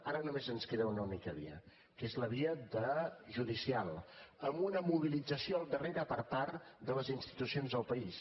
ara només ens queda una única via que és la via judicial amb una mobilització al darrere per part de les institucions del país